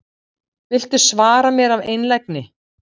Viltu svara mér af einlægni?